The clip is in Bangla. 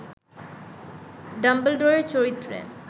ডাম্বলডোরের চরিত্রে